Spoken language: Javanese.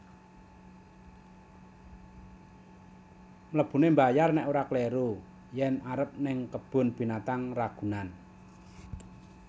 Mlebune mbayar nek ora kliru yen arep ning Kebun Binatang Ragunan